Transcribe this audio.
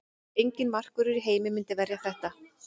Enginn markvörður í heimi myndi verja þetta.